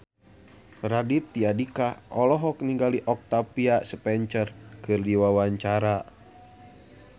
Raditya Dika olohok ningali Octavia Spencer keur diwawancara